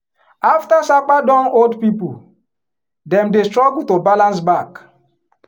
after sapa don hold people dem dey struggle to balance back.